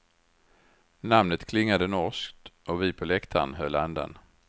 Namnet klingade norskt och vi på läktaren höll andan.